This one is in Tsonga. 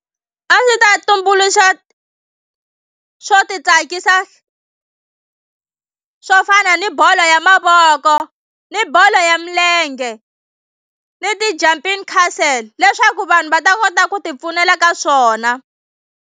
A ndzi ta tumbuluxa swo titsakisa swo fana ni bolo ya mavoko ni bolo ya milenge ni ti-jumping castle leswaku vanhu va ta kota ku tipfunela ka swona.